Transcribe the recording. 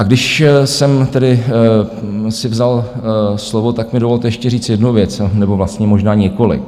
A když jsem tedy si vzal slovo, tak mi dovolte ještě říct jednu věc, nebo vlastně možná několik.